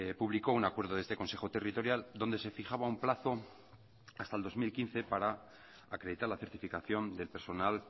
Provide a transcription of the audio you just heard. publicó un acuerdo de este consejo territorial donde se fijaba un plazo hasta el dos mil quince para acreditar la certificación del personal